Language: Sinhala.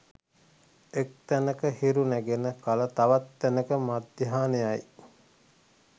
එක් තැනක හිරු නැගෙන කල තවත් තැනෙක මධ්‍යහ්නයයි